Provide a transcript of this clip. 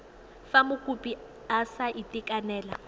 fa mokopi a sa itekanela